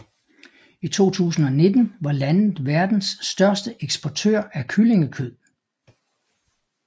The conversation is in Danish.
I 2019 var landet verdens største eksportør af kyllingekød